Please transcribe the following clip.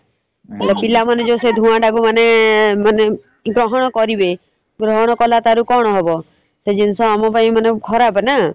ହେଲେ ପିଲାମାନେ ସେ ଧୂଆଁଟାକୁ ମାନେ ଗ୍ରହଣ କରିବେ ଗ୍ରହଣ କଲାପରେ କଣ ହବ ସେ ଜିନିଷ ଆମ ପାଇଁ ମାନେ ଖରାପ୍ ନା ।